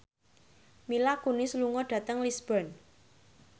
Mila Kunis lunga dhateng Lisburn